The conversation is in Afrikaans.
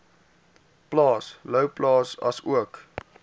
plaas louwplaas asook